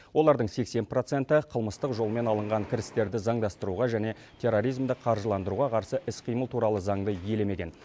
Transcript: олардың сексен проценті қылмыстық жолмен алынған кірістерді заңдастыруға және терроризмді қаржыландыруға қарсы іс қимыл туралы заңды елемеген